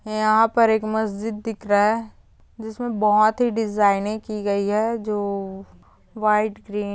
यहाँ पर एक मस्जिद दिखरा ह जिसमें बहुत ही डिजाइनिंग की गई है ज वाइट ग्रीन--